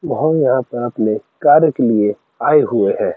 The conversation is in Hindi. साथ में कार्य के लिए आए हुए हैं।